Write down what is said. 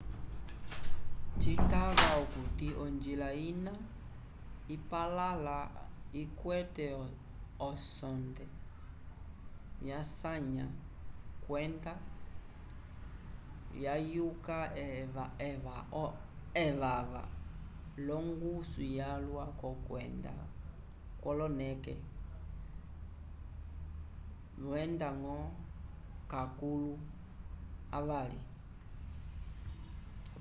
citava okuti onjila ina ipalãla ikwete osonde yasanya kwenda lyayuka evava l'ongusu yalwa k'okwenda kwoloneke wenda-ñgo lakulu avali